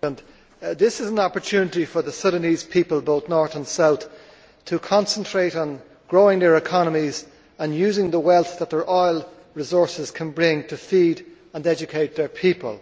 Mr President, this is an opportunity for the Sudanese people, of both North and South, to concentrate on growing their economies and using the wealth that their oil resources can bring to feed and educate their people,